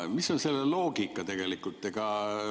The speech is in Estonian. Mis on selle loogika?